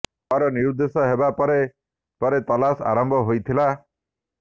ଦର୍ ନିରୁଦ୍ଦେଶ ହେବା ପରେ ପରେ ତଲାସ ଆରମ୍ଭ ହୋଇଥିଲା